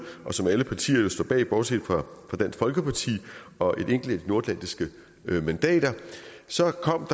og som alle partier står bag bortset fra dansk folkeparti og et enkelt nordatlantisk mandat og så kom